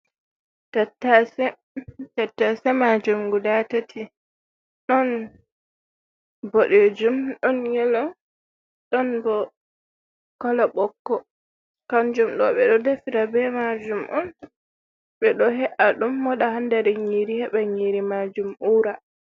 Tattase, tattase majum guda tati, ɗon boɗejum ɗon yelo, ɗon bo kolo ɓokko, kanjum ɗo ɓeɗo defira be majum on, ɓeɗo he’a ɗum moɗa hander nyiri heɓa nyiri majum ura.